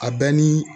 A bɛ ni